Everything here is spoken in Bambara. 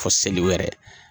A fo seli wɛrɛ.